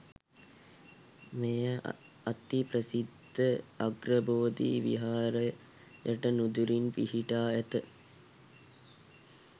මෙය අති ප්‍රසිද්ධ අග්‍රබෝධි විහාරයට නුදුරින් පිහිටා ඇත.